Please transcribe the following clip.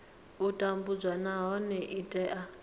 u tambudzwa nahone i tea